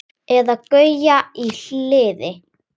Eða Gauja í Hliði!